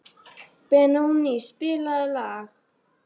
Benóný, spilaðu lag.